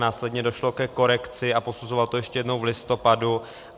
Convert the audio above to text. Následně došlo ke korekci a posuzoval to ještě jednou v listopadu.